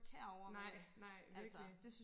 nej nej virkelig